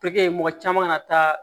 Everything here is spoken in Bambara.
Tɛkɛ mɔgɔ caman ka na taa